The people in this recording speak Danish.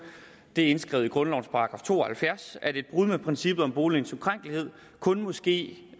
det er indskrevet i grundlovens § to og halvfjerds at et brud med princippet om boligens ukrænkelighed kun må ske